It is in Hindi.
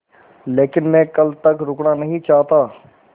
लेकिन मैं कल तक रुकना नहीं चाहता